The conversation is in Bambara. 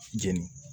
Jeni